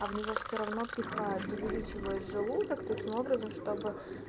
а в него все равно пихают увеличивают желудок таким образом чтобы